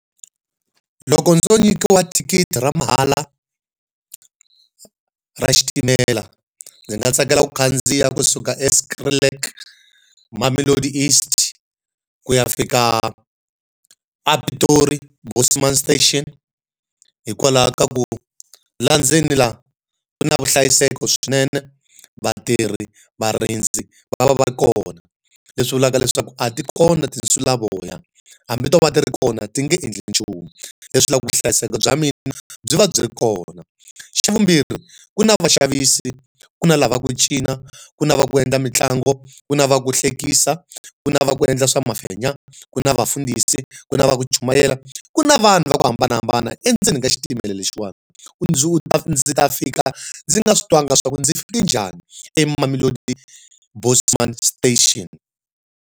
Loko ndzo nyikiwa thikithi ra mahala ra xitimela ndzi nga tsakela ku khandziya kusuka eSkrilik Mamelodi East ku ya fika a Piroti Bosman station hikwalaho ka ku laha ndzeni la, ku na vuhlayiseki swinene, vatirhi, va va va ri kona. Leswi vulaka leswaku a ti kona tinsulavoya, hambi to va ti ri kona ti nge endli nchumu. Leswi vula ku vuhlayiseki bya mina byi va byi ri kona. Xa vumbirhi, ku na vaxavisi, ku na lava ku cina, ku na va ku endla mitlangu, ku na va ku hlekisa, ku na va ku endla swa mafenya, ku na vafundhisi, ku na va ku chumayela, ku na vanhu va ku hambanahambana endzeni ka xitimela lexiwani. ndzi ta fika, ndzi nga swi twangi swa ku ndzi fike njhani eMamelodi Bosman station.